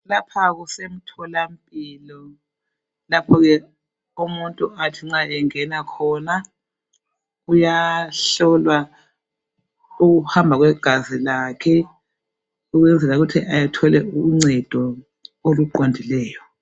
Lapha kusemtholampilo, lapho ke umuntu athi nxa engena khona uyahlolwa ukuhamba kwegazi lakhe ukwenzela ukuthi athole uncedo oluqondileyo.